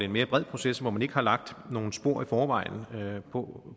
mere bred proces hvor man ikke har lagt nogen spor i forvejen på